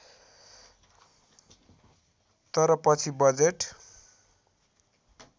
तर पछि बजेट